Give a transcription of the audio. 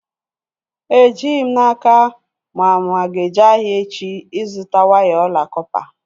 Ejighị m n'aka ma mụ aga-eje ahịa echi ịzụta waya ọla kọpa